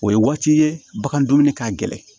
O ye waati ye bagan dumuni ka gɛlɛn